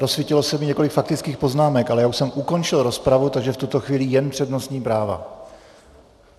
Rozsvítilo se mi několik faktických poznámek, ale já už jsem ukončil rozpravu, takže v tuto chvíli jen přednostní práva.